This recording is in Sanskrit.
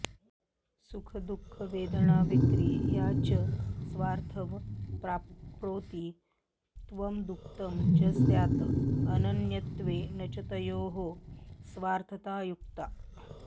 सुखदुःखवेदनाविक्रिया च स्वार्थैव प्राप्नोति त्वदुक्तं च स्यात् अनन्यत्वे न च तयोः स्वार्थता युक्ता